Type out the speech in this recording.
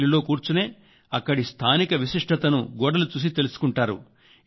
రైలులో కూర్చునే అక్కడి స్థానిక విశిష్టతను గోడలు చూసి తెలుసుకుంటారు